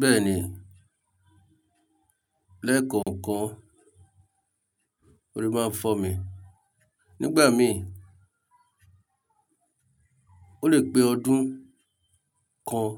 Bẹ́ẹ̀ni, lẹ́ẹ̀kọ̀ọ̀kan, orí máa ń fọ́mi, nígbà míì ó lè pé ọdún kan